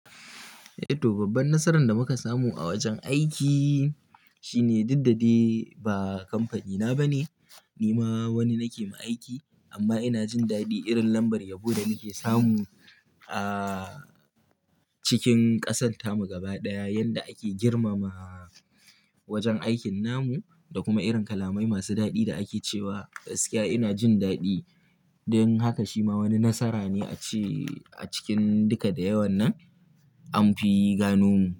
Eh to babban nasaran da muka samu a wajen aiki shine dukdade ba kamfanina ba ne, ni ma wani nake mai aiki amma ina jin daɗi irin lambar yabo da muke samu a cikin ƙasarta mu gaba ɗaya yanda ake girmama wajen aikin namu da kuma irin kalamai masu daɗi da ake cewa gaskiya ina jin daɗi don haka shi ma wani nasara ne a ci a cikin duka da yawan nan anfi gano mu.